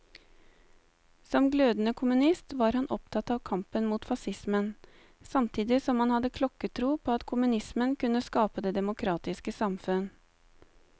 Som glødende kommunist var han opptatt av kampen mot facismen, samtidig som han hadde klokketro på at kommunismen kunne skape det demokratiske samfunn.